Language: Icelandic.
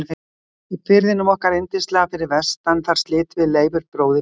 Í firðinum okkar yndislega fyrir vestan þar slitum við Leifur bróðir barnsskónum.